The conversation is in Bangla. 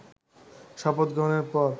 শপথ গ্রহণের পর